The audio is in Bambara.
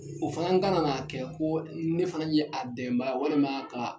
O fana ka na n'a kɛ ko ne fana ye a dɛmɛbaga ye walima ka